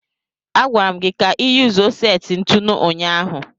A gwara m gi ka iyuzuo seti ntụnụ ụnyaahụ.